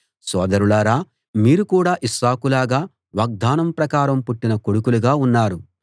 సోదరులారా మీరు కూడా ఇస్సాకు లాగా వాగ్దానం ప్రకారం పుట్టిన కొడుకులుగా ఉన్నారు